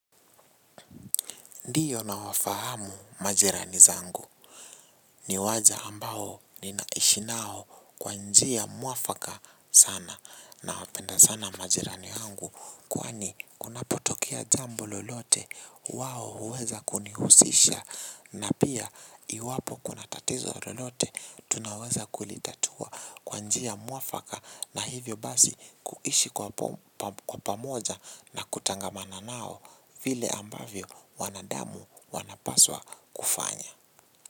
Ndiyo nawafahamu majirani zangu ni waja ambao ninaishi nao kwa njia mwafaka sana nawapenda sana majirani wangu kwani kunapotokea jambo lolote wao huweza kunihusisha na pia iwapo kuna tatizo lolote tunaweza kulitatua kwanjia mwafaka na hivyo basi kuishi kwa pamoja na kutangamana nao vile ambavyo wanadamu. Damu wanapaswa kufanya.